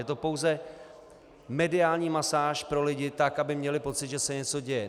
Je to pouze mediální masáž pro lidi, tak aby měli pocit, že se něco děje.